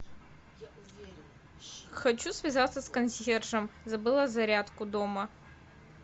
хочу связаться с консьержем забыла зарядку дома